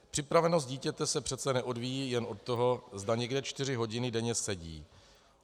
Připravenost dítěte se přece neodvíjí jen od toho, zda někde čtyři hodiny denně sedí.